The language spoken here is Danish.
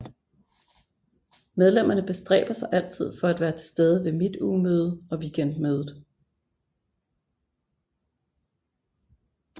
Medlemmerne bestræber sig altid for at være til stede ved Midtugemøde og Weekendmødet